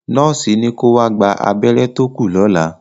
Nọ́ọ̀sì ní ko wá gba abẹ́rẹ́ tó kù lọ́la.